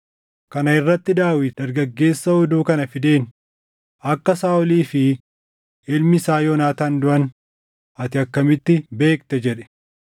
Kana irratti Daawit dargaggeessa oduu kana fideen, “Akka Saaʼolii fi ilmi isaa Yoonaataan duʼan ati akkamitti beekte?” jedhe.